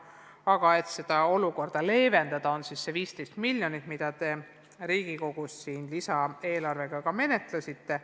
Aga et seda olukorda leevendada, on antud 15 miljonit, mida te Riigikogus lisaeelarve raames ka menetlesite.